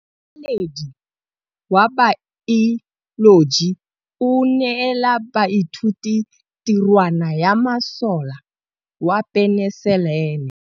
Motlhatlhaledi wa baeloji o neela baithuti tirwana ya mosola wa peniselene.